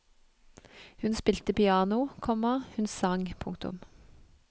Hun spilte piano, komma hun sang. punktum